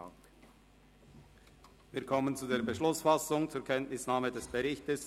Wir kommen zur Beschlussfassung über die Kenntnisnahme des Berichtes.